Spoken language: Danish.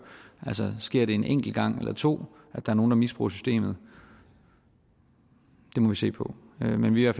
altså sker det en enkelt gang eller to at nogle misbruger systemet det må vi se på men vi er